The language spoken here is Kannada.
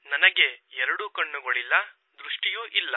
ನನಗೆ ಎರಡೂ ಕಣ್ಣುಗಳಿಲ್ಲ ದೃಷ್ಟಿ ಇಲ್ಲ